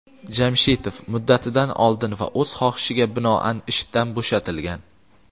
Jamshitov "muddatidan oldin" va "o‘z xohishiga binoan" ishdan bo‘shatilgan.